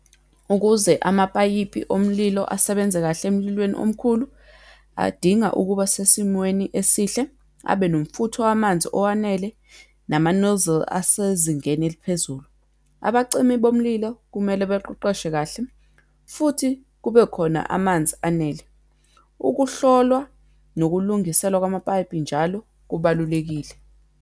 Ukuze amapayipi omlilo asebenze kahle emlilweni omkhulu, adinga ukuba sesimweni esihle, abenomfutho wamanzi owanele, nama-nozzle asezingeni eliphezulu. Abacimi bomlilo kumele beqeqeshwe kahle, futhi kubekhona amanzi anele. Ukuhlolwa nokulungiselwa kwamapayipi njalo, kubalulekile.